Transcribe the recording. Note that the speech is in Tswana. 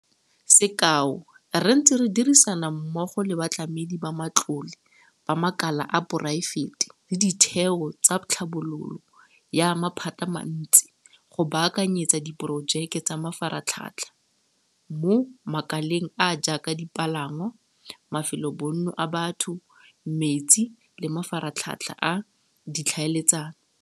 Sekao, re ntse re dirisana mmogo le batlamedi ba matlole ba makala a poraefete le ditheo tsa tlhabololo ya maphatamantsi go baakanyetsa diporojeke tsa mafaratlhatlha mo makaleng a a jaaka dipalangwa, mafelobonno a batho, metsi le mafaratlhatlha a ditlhaeletsano.